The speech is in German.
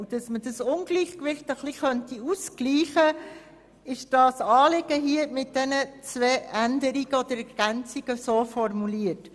Um dieses Ungleichgewicht auszugleichen, haben wir unser Anliegen mit diesen zwei Ergänzungen formuliert.